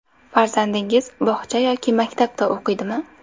Farzandingiz bog‘cha yoki maktabda o‘qiydimi ?